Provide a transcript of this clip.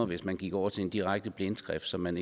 hvis man gik over til direkte blindskrift som man